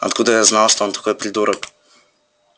откуда я знал что он такой придурок